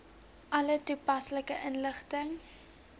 alle toepaslike inligting